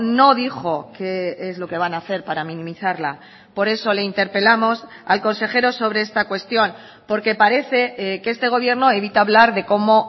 no dijo qué es lo que van a hacer para minimizarla por eso le interpelamos al consejero sobre esta cuestión porque parece que este gobierno evita hablar de cómo